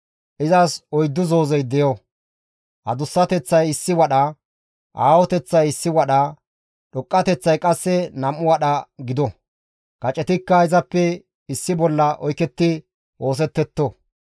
izas oyddu zoozey deyo; adussateththay issi wadha, aahoteththay issi wadha, dhoqqateththay qasse nam7u wadha gido; kacetikka izara issi bolla oyketti oosettetto.